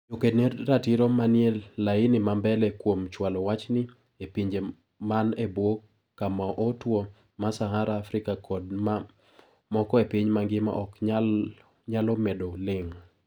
Joked ne ratiro manie laini ma mbele kuom chwalo wachni epinje man ebwo kamaotwo ma sahara Afrika kod ma moko epiny mangima ok nyalo medo ling.